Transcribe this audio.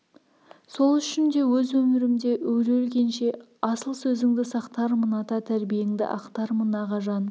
сол үшін де өз өмірімде өле-өлгенше асыл сөзіңді сақтармын ата тәрбиеңді ақтармын ағажан